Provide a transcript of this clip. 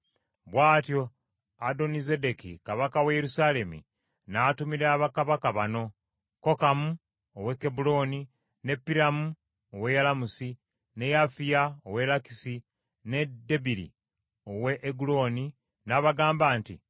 Bw’atyo Adonizedeki kabaka wa Yerusaalemi n’atumira bakabaka bano: Kokamu ow’e Kebbulooni, ne Piramu ow’e Yalamusi, ne Yafiya ow’e Lakisi ne Debiri ow’e Eguloni n’abagamba nti,